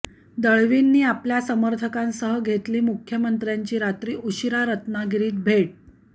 दळवींनी आपल्या समर्थकांसह घेतली मुख्यमंत्र्यांची रात्री उशिरा रत्नागिरीत घेतली भेट घेतली